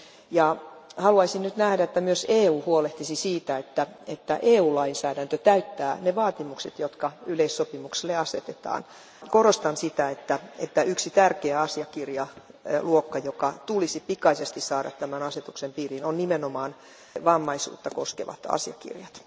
Ja haluaisin nyt nähdä, että myös EU huolehtisi siitä, että EU lainsäädäntö täyttää ne vaatimukset, jotka yleissopimuksille asetetaan. Korostan sitä, että yksi tärkeä asiakirjaluokka, joka tulisi pikaisesti saada tämän asetuksen piiriin, on nimenomaan vammaisuutta koskevat asiakirjat.